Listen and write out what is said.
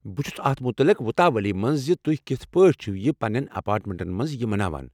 بہٕ چھُس اتھ متعلِق وُتاولی مَنٛز زِ تُہۍ کِتھہٕ پٲٹھۍ چھِوٕ یہِ پننٮ۪ن ایٚپارٹمنٹن مَنٛز یہِ مَناوان۔